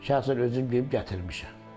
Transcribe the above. Şəxsən özüm gedib gətirmişəm.